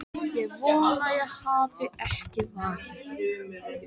Ég vona ég hafi ekki vakið þig.